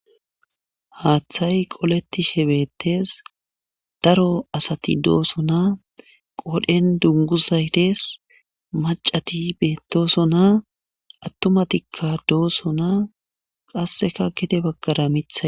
haaththay qoleti shebettes daro asati dooso na qodhen dunguzaytes macati beettosona attumatikka doosona qasseka gete baggara mithay